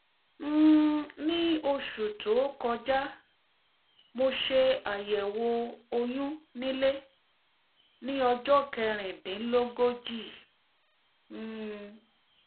um ní oṣù tó kọjá mo ṣe àyẹ̀wò oyún nílé ní ọjọ́ kẹ̀rìndínlógójì um